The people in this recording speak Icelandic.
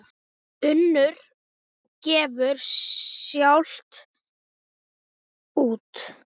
Unnur gefur sjálf út.